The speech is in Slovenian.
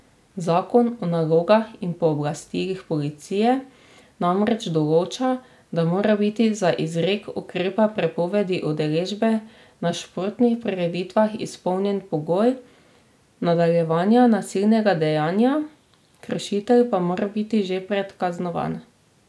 Zakon o nalogah in pooblastilih policije namreč določa, da mora biti za izrek ukrepa prepovedi udeležbe na športnih prireditvah izpolnjen pogoj nadaljevanja nasilnega dejanja, kršitelj pa mora biti že predkaznovan.